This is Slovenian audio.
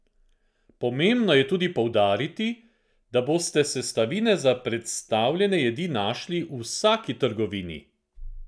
Pomembno je tudi poudariti, da boste sestavine za predstavljene jedi našli v vsaki trgovini!